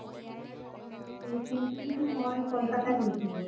recently তো মই কলকাতা গৈছিলো